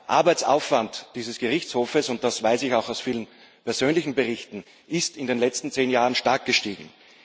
Der Arbeitsaufwand dieses Gerichtshofes das weiß ich aus vielen persönlichen Berichten ist in den letzten zehn Jahren stark gestiegen.